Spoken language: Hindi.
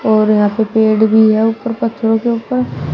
और यहां पे पेड़ भी है ऊपर पत्थरों के ऊपर।